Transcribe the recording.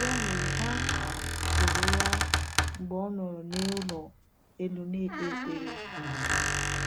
Ya mere, ha tụrụ ụra mgbe ọ nọrọ n’ụlọ elu na-ekpe ekpere.